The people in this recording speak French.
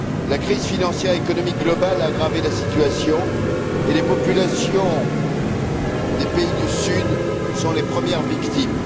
La crise financière et économique mondiale a aggravé la situation, et les populations des pays du Sud en sont les premières victimes.